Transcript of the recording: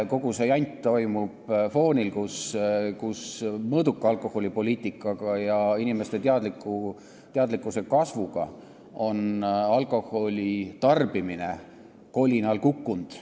Kogu see jant toimub sellisel foonil, et mõõduka alkoholipoliitika ja inimeste teadlikkuse kasvu tõttu on alkoholitarbimine juba kolinal kukkunud.